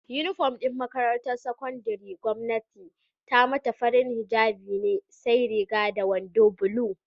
Inufom din makarantar sakandarin gwamnati ta mata, farin hijjabi ne sai Riga da wando bulu